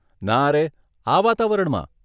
નારે, આ વાતાવરણમાં?